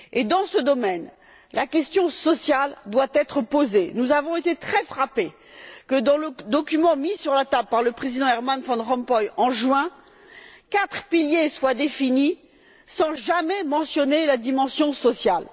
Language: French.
Dans ce domaine, la question sociale doit être posée nous avons été très frappés de ce que, dans le document mis sur la table par le président Herman Van Rompuy en juin, quatre piliers soient définis sans jamais mentionner la dimension sociale.